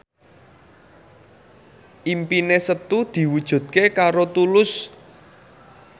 impine Setu diwujudke karo Tulus